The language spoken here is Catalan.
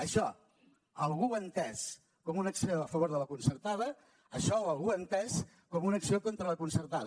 això algú ho ha entès com una acció a favor de la concertada això algú ho ha entès com una acció contra la concertada